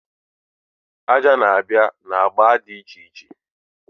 Aja na-abịa na agba dị iche iche.